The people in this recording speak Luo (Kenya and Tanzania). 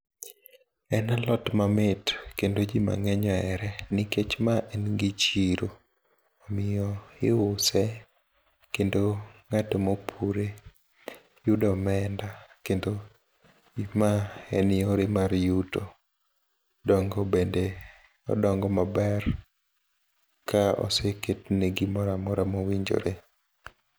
en alot mamit kendo ji mang'eny ohere nikech ma en gi chiro kendo ng'at mopure yudo omenda kendo ma en yore mar yuto, dong'o bende odong'o maber ka oseketne gimoro amora mowinjore.